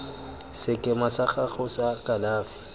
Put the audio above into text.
sekema sa gago sa kalafi